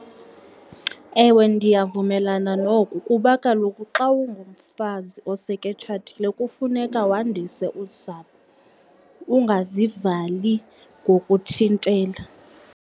Ewe, ndiyavumelana noku kuba kaloku xa ungumfazi oseke etshatile kufuneka wandise usapho, ungazivali nokuthintela.